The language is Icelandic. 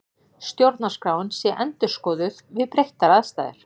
Stjórnarskráin sé endurskoðuð við breyttar aðstæður